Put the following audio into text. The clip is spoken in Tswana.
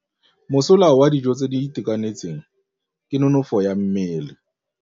Mosola wa dijô tse di itekanetseng ke nonôfô ya mmele.